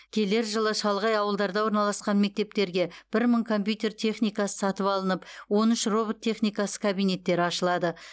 келер жылы шалғай ауылдарда орналасқан мектептерге бір мың компьютер техникасы сатып алынып он үш робот техникасы кабинеттері ашылады